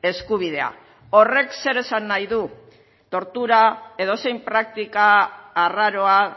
eskubidea horrek zer esan nahi du tortura edozein praktika arraroa